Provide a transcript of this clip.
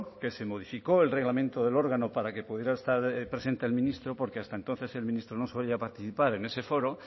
que se modificó el reglamento del órgano para que pudiera estar presente el ministro porque hasta entonces el ministro no solía participar en ese foro